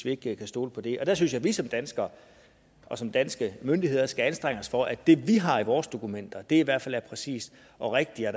ikke kan stole på det og der synes jeg vi som danskere som danske myndigheder skal anstrenge os for at det vi har i vores dokumenter i hvert fald er præcist og rigtigt og